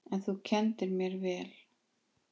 En þú kenndir mér vel.